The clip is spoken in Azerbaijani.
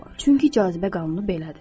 Çünki cazibə qanunu belədir.